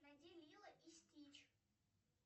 найди лило и стич